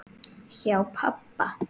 Hjá pabba